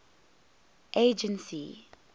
agency